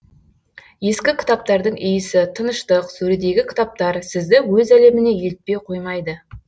ескі кітаптардың иісі тыныштық сөредегі кітаптар сізді өз әлеміне елітпей қоймайды